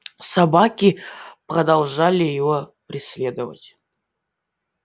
собаки продолжали его преследовать